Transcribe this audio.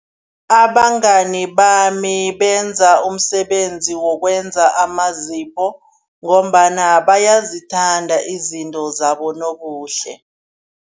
Abangani bami benza umsebenzi wokwenza amazipho ngombana bayazithanda izinto zabonobuhle.